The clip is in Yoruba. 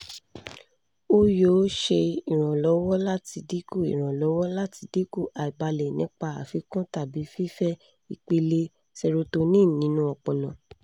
o yoo ṣe iranlọwọ lati dinku iranlọwọ lati dinku aibalẹ nipa afikun tabi fifẹ ipele serotonin ninu ọpọlọ